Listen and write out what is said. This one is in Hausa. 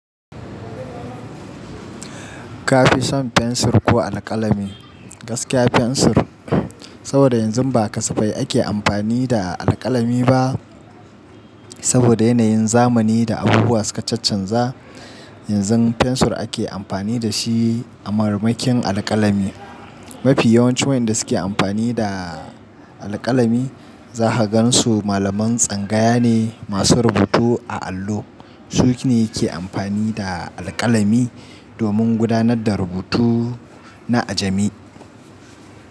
Kafi son fensir ko alkalami? Gaskiya fensur, saboda yanzu ba kasafai ake amfani da alkalami ba. Saboda yanayin zamani da abubuwa suka chanza. Yanzu fensur ake amfani da shi a marmakin alkalami. Mafi yawancin wanda suke amfani da alkalami za ka gansu malaman tsangaya ne masu rubutu a allo. Su ne ke amfani da alkalami domin gudanar da rubutu na ajami.